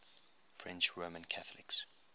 french roman catholics